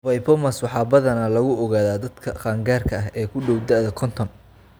VIPomas waxaa badanaa lagu ogaadaa dadka qaangaarka ah ee ku dhow da'da konton.